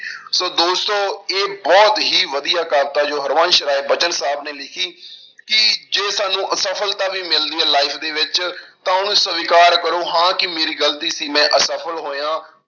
ਸੌ ਦੋਸਤੋ ਇਹ ਬਹੁਤ ਹੀ ਵਧੀਆ ਕਵਿਤਾ ਜੋ ਹਰਬੰਸ ਰਾਏ ਬਚਨ ਸਾਹਬ ਨੇ ਲਿਖੀ ਕਿ ਜੇ ਸਾਨੂੰ ਅਸਫ਼ਲਤਾ ਵੀ ਮਿਲਦੀ ਹੈ life ਦੇ ਵਿੱਚ ਤਾਂ ਉਹਨੂੰ ਸਵਿਕਾਰ ਕਰੋ ਹਾਂ ਕਿ ਮੇਰੀ ਗ਼ਲਤੀ ਸੀ ਮੈਂ ਅਸਫ਼ਲ ਹੋਇਆ,